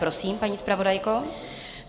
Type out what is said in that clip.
Prosím, paní zpravodajko.